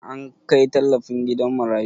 An kai tallafin gidan marayu?